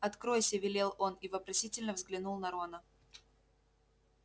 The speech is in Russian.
откройся велел он и вопросительно взглянул на рона